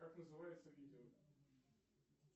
как называется видео